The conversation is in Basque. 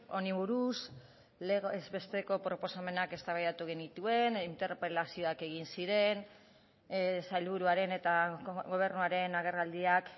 honi buruz legez besteko proposamenak eztabaidatu genituen interpelazioak egin ziren sailburuaren eta gobernuaren agerraldiak